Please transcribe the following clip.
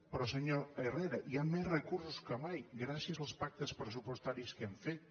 però senyor herrera hi ha més recursos que mai gràcies als pactes pressupostaris que hem fet